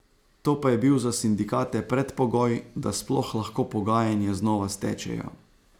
To pa je bil za sindikate predpogoj, da sploh lahko pogajanja znova stečejo.